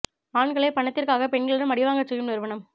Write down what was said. ஆண்களை பணத்திற்காக பெண்களிடம் அடிவாங்கச் செய்யும் நிறுவனம்